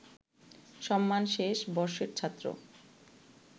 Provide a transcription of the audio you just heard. সম্মান শেষ বর্ষের ছাত্র